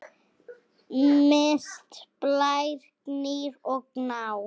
Mist, Blær, Gnýr og Gná.